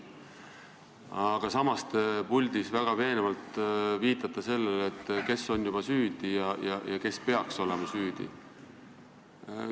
Aga samas te puldis väga veenvalt viitasite sellele, kes juba on süüdi ja kes veel peaks olema süüdi.